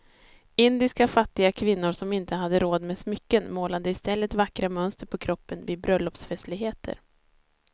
Indiska fattiga kvinnor som inte hade råd med smycken målade i stället vackra mönster på kroppen vid bröllopsfestligheter.